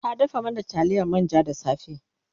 ta dafa mana taliyar manja da safe